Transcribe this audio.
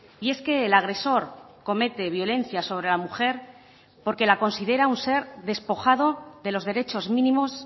y es que el agresor comete violencia sobre la mujer porque la considera un ser despojado de los derechos mínimos